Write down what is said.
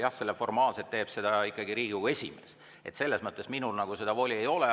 Jah, formaalselt teeb seda ikkagi Riigikogu esimees, nii et selles mõttes minul seda voli ei ole.